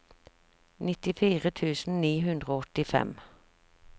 nittifire tusen ni hundre og åttifem